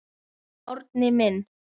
Árni minn.